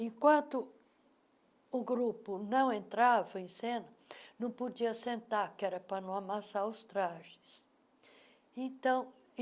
Enquanto o grupo não entrava em cena, não podia sentar, que era para não amassar os trajes. então